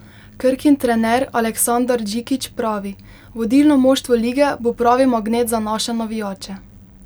Krkin trener Aleksandar Džikić pravi: 'Vodilno moštvo lige bo pravi magnet za naše navijače.